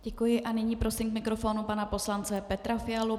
Děkuji a nyní prosím k mikrofonu pana poslance Petra Fialu.